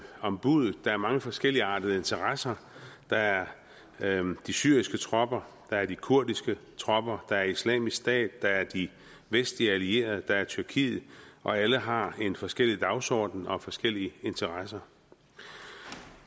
om buddet der er mange forskelligartede interesser der er de syriske tropper der er de kurdiske tropper der er islamisk stat der er de vestlige allierede der er tyrkiet og alle har forskellige dagsordener og forskellige interesser